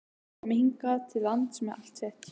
Komi hingað til lands með allt sitt?